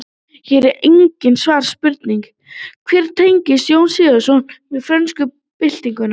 Hér er einnig svarað spurningunni: Hver eru tengsl Jóns Sigurðssonar við frönsku byltinguna?